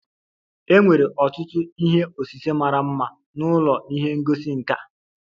E nwere ọtụtụ ihe osise mara mma n'ụlọ ihe ngosi nka.